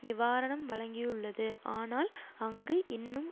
நிவாரணம் வழங்கியுள்ளது ஆனால் அங்கு இன்னும்